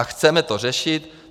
A chceme to řešit.